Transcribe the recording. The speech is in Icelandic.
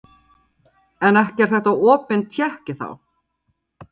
Telma Tómasson: En ekki er þetta opin tékki þá?